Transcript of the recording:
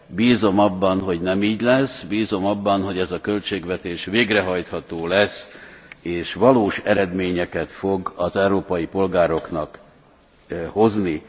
Bízom abban, hogy nem így lesz, bízom abban, hogy ez a költségvetés végrehajtható lesz, és valós eredményeket fog az európai polgároknak hozni.